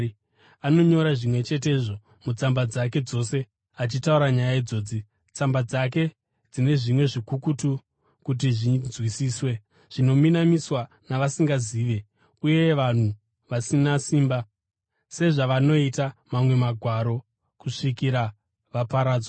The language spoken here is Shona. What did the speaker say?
Anonyora zvimwe chetezvo mutsamba dzake dzose, achitaura nyaya idzodzi. Tsamba dzake dzine zvimwe zvikukutu kuti zvinzwisiswe, zvinominamiswa navasingazivi uye vanhu vasina simba, sezvavanoita mamwe Magwaro, kusvikira vaparadzwa.